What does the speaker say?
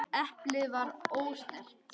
Eplið var ósnert.